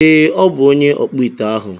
Ee, ọ bụ onye ọkpụite ahụ.